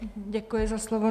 Děkuji za slovo.